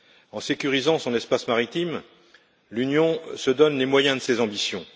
En sécurisant son espace maritime, l'Union se donne les moyens de ses ambitions.